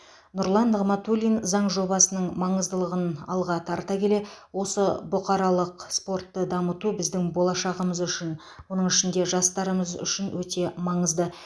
нұрлан нығматулин заң жобасының маңыздылығын алға тарта келе осы бұқаралық спортты дамыту біздің болашағымыз үшін оның ішінде жастарымыз үшін өте маңызды